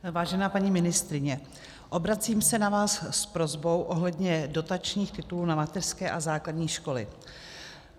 Vážená paní ministryně, obracím se na vás s prosbou ohledně dotačních titulů na mateřské a základní školy.